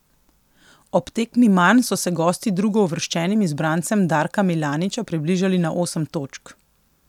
Ob tekmi manj so se gosti drugouvrščenim izbrancem Darka Milaniča približali na osem točk.